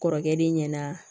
Kɔrɔkɛ de ɲɛna